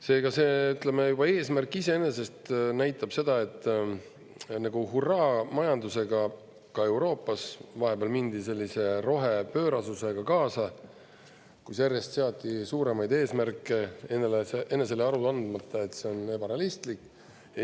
Seega see eesmärk iseenesest näitab seda, et hurraa-majandusega, ka Euroopas vahepeal mindi sellise rohepöörasusega kaasa, kus järjest seati suuremaid eesmärke enesele aru andmata, et see on ebarealistlik.